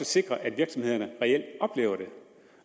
sikre at virksomhederne reelt oplever det